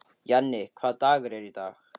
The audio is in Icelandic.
Jenni, hvaða dagur er í dag?